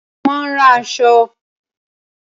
Ṣé ó máa ń ran aṣọ?